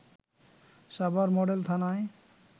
Savar model থানায়